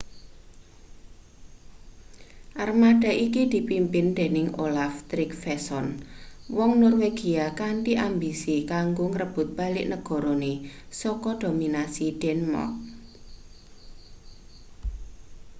armada iki dipimpin dening olaf trygvasson wong norwegia kanthi ambisi kanggo ngrebut balik negarane saka dominasi denmark